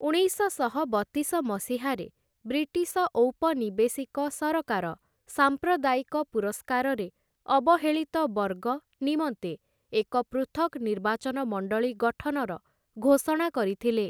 ଉଣେଇଶଶହ ବତିଶ ମସିହାରେ ବ୍ରିଟିଶ ଔପନିବେଶିକ ସରକାର ସାମ୍ପ୍ରଦାୟିକ ପୁରସ୍କାରରେ 'ଅବହେଳିତ ବର୍ଗ' ନିମନ୍ତେ ଏକ ପୃଥକ୍‌ ନିର୍ବାଚନ ମଣ୍ଡଳୀ ଗଠନର ଘୋଷଣା କରିଥିଲେ ।